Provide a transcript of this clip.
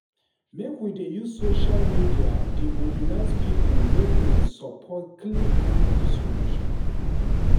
Make we dey use social media dey mobilize pipo make dem support clean energy solution.